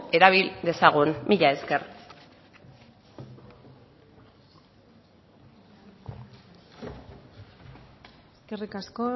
erabili dezagun mila esker eskerrik asko